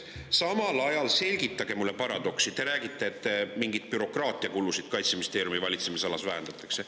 Samal ajal – selgitage mulle paradoksi – te räägite, et mingeid bürokraatiakulusid Kaitseministeeriumi valitsemisalas vähendatakse.